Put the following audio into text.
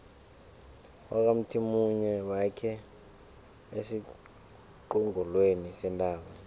bakwamthimunye bakhe esiqongolweni sentaba